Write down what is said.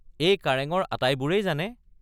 এই কাৰেঙৰ আটাইবোৰেই জানে?